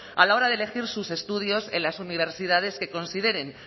a la hora de elegir sus estudios en las universidades que consideren